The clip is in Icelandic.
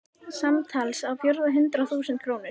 Samtals á fjórða hundrað þúsund krónur.